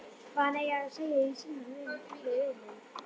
Hvað hann eigi að segja í símann við vininn.